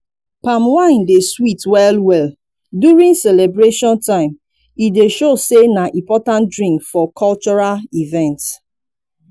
palm wine dey sweet well well during celebration time e dey show sey na important drink for cultural event